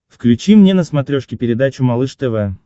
включи мне на смотрешке передачу малыш тв